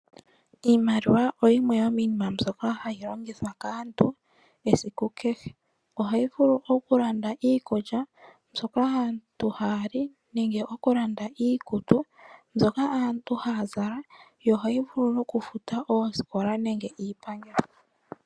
Iimaliwa oyimwe yo miinima mbyoka hayi longithwa kaantu esiku kehe. Ohayi vuku okulanda iikulya mbyoka hayi liwa kaantu, nenge okulanda iikutu mbyoka hayi zakwa kaantu yo ohayi vulu okufuta oosikola nenge iipangelo.